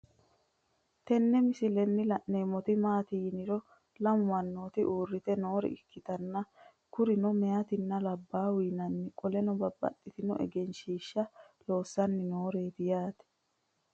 Tenne misilenni la'neemmoti maati yiniro lamu mannooti uurrite noore ikkitanna kurino meyaatenna labbaaho yinanni qoleno babbaxxino egenshiiahaha loossanni nooreeti yaate.